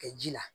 Kɛ ji la